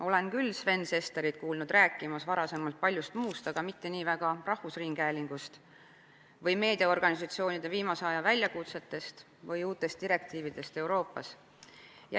Olen küll Sven Sesterit kuulnud varasemalt rääkimas paljust muust, aga mitte nii väga rahvusringhäälingust, meediaorganisatsioonide viimase aja väljakutsetest või uutest Euroopa Liidu direktiividest.